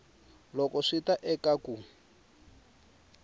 loko swi ta eka ku